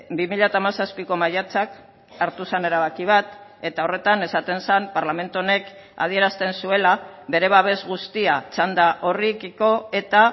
bi mila hamazazpiko maiatzak hartu zen erabaki bat eta horretan esaten zen parlamentu honek adierazten zuela bere babes guztia txanda horrekiko eta